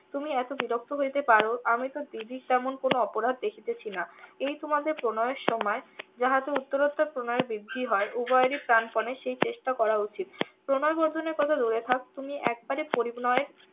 তুমি এত বিরক্ত হইতে পারো আমি তো দিদির তেমন কোনো অপরাধ দেখিতেছি না এই তোমাদের প্রণয়ের সময় যাহাতে উত্তরাতোর প্রণয়ের বৃদ্ধি হয় উভয়েরই প্রানপনে সেই চেষ্টা করা উচিত প্রণয় বর্ধনের কথা দূরে থাকে তুমি একবারে প্রণয়